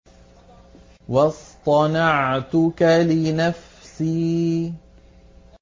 وَاصْطَنَعْتُكَ لِنَفْسِي